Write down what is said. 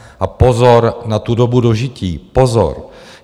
A pozor na tu dobu dožití, pozor.